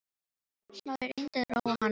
Smári reyndi að róa hana niður.